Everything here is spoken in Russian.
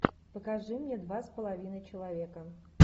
покажи мне два с половиной человека